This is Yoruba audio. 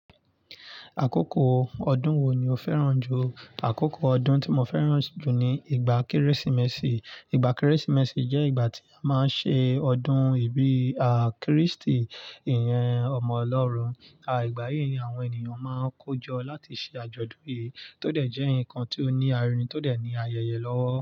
Àkókò ọdún wo ni o fẹ́ràn jù? Àkókò ọdún tí mo fẹ́ràn jù ni ìgbà Kérésìmesì. Ìgbà Kérésìmesì jẹ́ ìgbà tí a máa ń ṣe ọdún ìbí à Krístì, ìyẹn ọmọ Ọlọ́run. À ìgbà yìí ni àwọn ènìyàn máa ń kojọ láti ṣe àjọ̀dún yìí tó dẹ̀ jẹ́ ǹkan tí ó ní arínrin tó dẹ̀ ní ayẹyẹ lọ́wọ́.